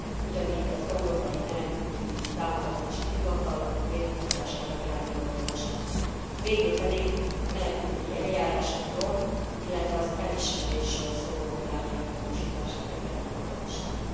ugyanígy az európai menekültügyi támogatási hivatal létrehozására irányuló javaslat, végül pedig a menekültügyi eljárásokról, illetve az elismerésről szóló irányelv módosítására irányuló javaslat.